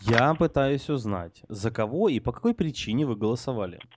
я пытаюсь узнать за кого и по какой причине вы голосовали